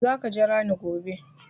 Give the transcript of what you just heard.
Za ka jira ni gobe!